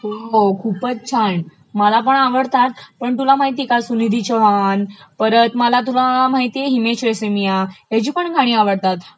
हो हो खूपचं छान. माल पण आवडतात पण तुला माहितेय का सुनिधी चौहान परत मला तुला माहितेय हिमेश रेशमिया ह्याची पण गाणी आवडतात,